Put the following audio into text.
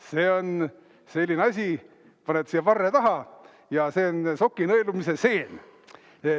See on selline asi, paned siia varre taha, ja see on soki nõelumise seen.